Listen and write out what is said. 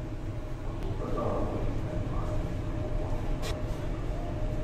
Ũtungata wa ũrigitani wagĩrĩirũo gũkorũo ũrĩ mwega